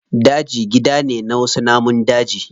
Daji gida ne na wasu namun daji.